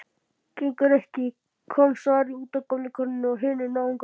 Gengur ekki,- kom svarið, útaf gömlu konunni og hinum náunganum.